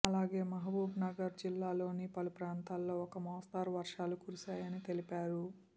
అలాగే మహబూబ్నగర్ జిల్లాలోని పలుప్రాంతాల్లో ఒక మోస్తరు వర్షాలు కురిశాయని తెలిపారు